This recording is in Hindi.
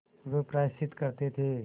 वे प्रायश्चित करते थे